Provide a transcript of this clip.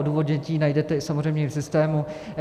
Odůvodnění najdete i samozřejmě v systému.